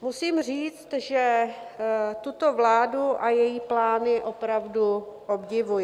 Musím říct, že tuto vládu a její plány opravdu obdivuji.